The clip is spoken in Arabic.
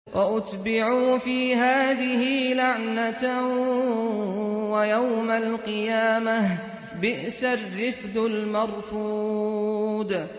وَأُتْبِعُوا فِي هَٰذِهِ لَعْنَةً وَيَوْمَ الْقِيَامَةِ ۚ بِئْسَ الرِّفْدُ الْمَرْفُودُ